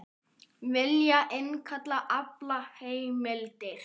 Vilja innkalla aflaheimildir